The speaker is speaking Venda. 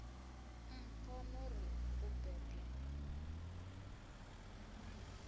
mpho no ri u bebwa